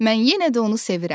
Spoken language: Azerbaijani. Mən yenə də onu sevirəm.